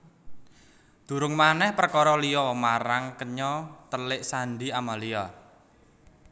Durung manèh perkara liya marang kenya telik sandhi Amalia